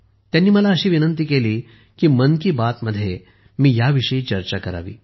त्यांनी मला अशी विनंती केली आहे की मन की बात मध्ये मी ह्याविषयी चर्चा करावी